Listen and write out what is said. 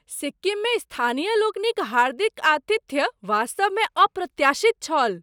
सिक्किममे स्थानीय लोकनिक हार्दिक आतिथ्य वास्तवमे अप्रत्याशित छल।